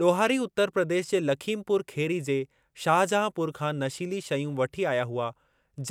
ॾोहारी उतर प्रदेश जे लखीमपुर खेरी जे शाहजहांपुर खां नशीली शयूं वठी आया हुआ